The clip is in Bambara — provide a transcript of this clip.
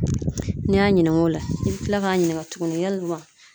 N'i y'a ɲininka o la , i bi kila k'a ɲininka tuguni yalima